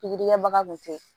Pikiri kɛbaga kun tɛ yen